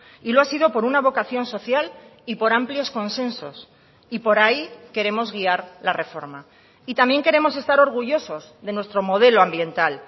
y lo ha sido por una vocación social y por amplios consensos y por ahí queremos guiar la reforma y también queremos estar orgullosos de nuestro modelo ambiental